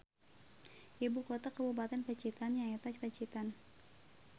Ibu kota kabupaten Pacitan nyaeta Pacitan